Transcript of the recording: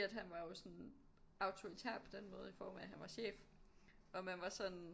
Han var jo sådan autoritær på den måde i form af at han var chef og man var sådan